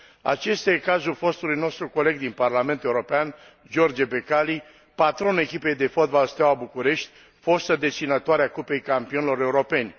Acesta e cazul fostului nostru coleg din Parlamentul European, George Becali, patronul echipei de fotbal Steaua București, fostă deținătoare a Cupei Campionilor Europeni.